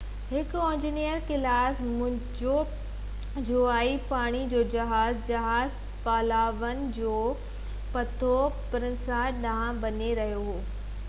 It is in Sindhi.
هڪ اوينجر ڪلاس منهنجي جوابي پاڻي جو جهاز جهاز پالاوان جي پيورٽو پرنسيسا ڏانهن وڃي رهيو هو